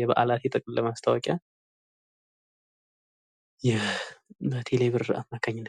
የበአላት የጥቅል ማስታወቂያ በቴሌ ብር አማካኝነት።